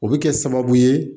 O bɛ kɛ sababu ye